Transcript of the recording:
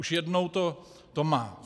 Už jednou to má.